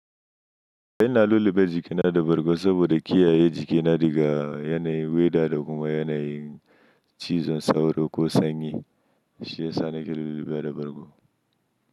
Eh na lulluɓe jikina da bargo saboda kiyaye jikina daga yanayin weather da kuma yanayin cizon sauro ko sanyi, shi ya sa na ke lullube da bargo.